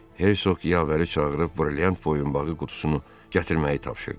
Hersoq yavəri çağırıb brilyant boyunbağı qutusunu gətirməyi tapşırdı.